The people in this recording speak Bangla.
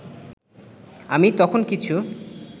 আমি তখন কিছু